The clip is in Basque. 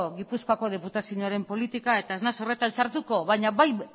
gipuzkoako diputazioaren politika eta ez naiz horretan sartuko baina